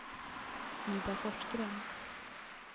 Ida Forsgren